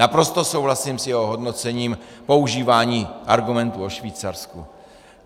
Naprosto souhlasím s jeho hodnocením používání argumentů o Švýcarsku.